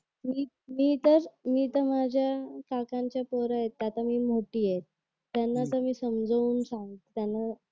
मी मी तर मी तर माझ्या काकांच्या पोरं आहेत त्यात मी मोठी आहे त्यानंतर मी समजावून सांगते त्यांना